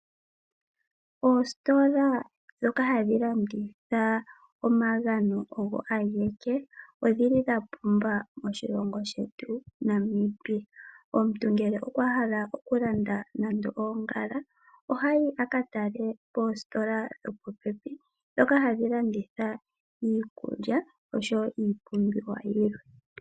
Oositola dhoka hadhi landitha omagano ogo ageke odhili dhapumba moshilongo shetu Namibia omuntu ngele okwa hala okulanda nande oongala ohayi akatale poositola dhopopepi dhoka hadhi landitha iikulya osho woo iipumbiwa yilwe.